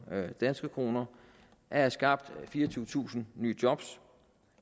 danske kroner at have skabt fireogtyvetusind nye job